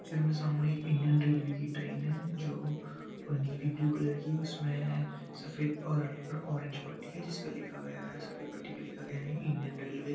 picture मे सामने एक इंडियन रेल्वे कि ट्रेन है जो नेवी ब्लू कलर की है उसमें सफेद और ऑररेंज पट्टी है जिसपे लिखा गया है सफेद पट्टी पे लिखा गया है इंडियन रेल्वे |